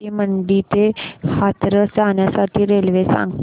राजा की मंडी ते हाथरस जाण्यासाठी रेल्वे सांग